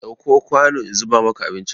Ɗauko kwanu in zuba maka abinci!